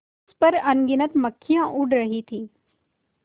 उस पर अनगिनत मक्खियाँ उड़ रही थीं